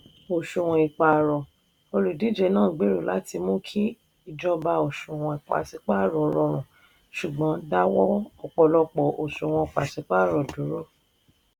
òṣùwọ̀n ìpààrọ̀: olùdíje náà gbèrò láti mú kí ìjọba òṣùwọ̀n pàṣípààrọ̀ rọrùn ṣùgbọ́n dáwọ́ ọ̀pọ̀lọpọ̀ òṣùwọ̀n pàṣípààrọ̀ dúró.